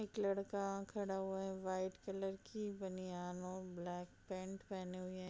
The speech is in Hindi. लड़का खड़ा हुआ है वाइट कलर की बनियान और ब्लैक पैंट पहने हुए --